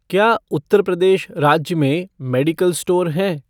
क्या उत्तर प्रदेश राज्य में मेडिकल स्टोर हैं?